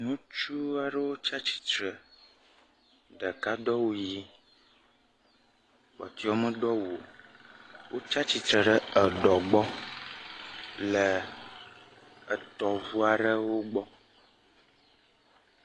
Ŋutsua ɖewo tsia tsitre, ɖeka do awu ɣi kpɔtɔewo me do awu o. Wotsia tsitre ɖe le eɖɔ gbɔ le tɔʋua ɖewo gbɔ.